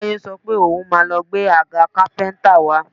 Táyé sọ pé òun máa lọ gbé agà kápẹ́ńtà wá